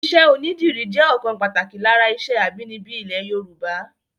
Iṣẹ́ onídìrí jẹ́ ọ̀kan pàtàkì lára iṣẹ́ abínibí ilẹ̀ Yorùbá